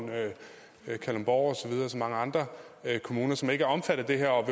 kalundborg og mange andre kommuner som ikke er omfattet af det her og